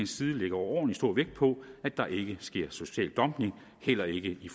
side lægger overordentlig stor vægt på at der ikke sker social dumping heller ikke i